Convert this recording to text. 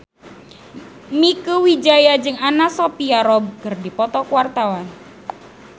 Mieke Wijaya jeung Anna Sophia Robb keur dipoto ku wartawan